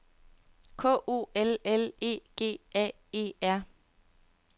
K O L L E G A E R